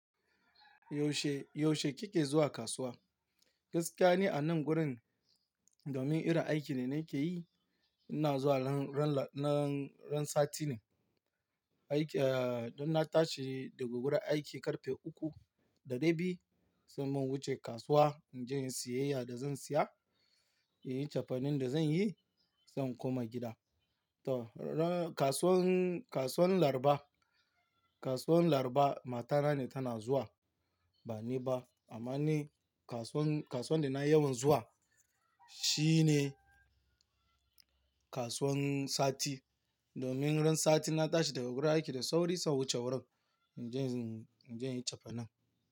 Yaushe, yaushe kike zuwa kasuwa? Gaskiya ne a nan gurin domin irin aiki da na ke yi, ina zuwa ran, ran, ran sati ne. Aiki, eh, idan na tashi daga gurin aiki ƙarfe uku da dai bi, san nan in wuce kasuwa, in je in yi siyayya da zan siya, in yi cefanen da zan yi, sai in koma gida. To, ran-- kasuwan, kasuwan Laraba, kasuwan Laraba matana ne tana zuwa ba ni ba. Amma ni kasuwan, kasuwan da na yawan zuwa shi ne kasuwan sati. Domin ran sati na tashi daga gurin aiki da sauri, sai in wuce wurin in je, in je in yi cefanin.